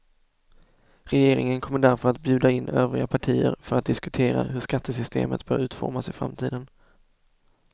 Regeringen kommer därför att bjuda in övriga partier för att diskutera hur skattesystemet bör utformas i framtiden.